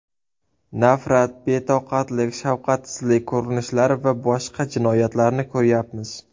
Nafrat, betoqatlik, shafqatsizlik ko‘rinishlari va boshqa jinoyatlarni ko‘ryapmiz.